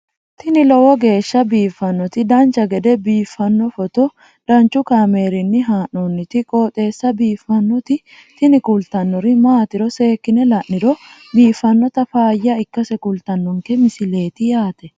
tini lowo geeshsha biiffannoti dancha gede biiffanno footo danchu kaameerinni haa'noonniti qooxeessa biiffannoti tini kultannori maatiro seekkine la'niro biiffannota faayya ikkase kultannoke misileeti yaate